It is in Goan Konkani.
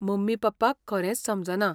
मम्मी पप्पाक खरेंच समजना.